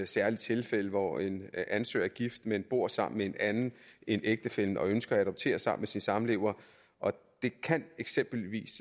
særlige tilfælde hvor en ansøger er gift men bor sammen med en anden end ægtefællen og ønsker at adoptere sammen med sin samlever det kan eksempelvis